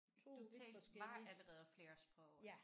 Du talte var allerede flere sprog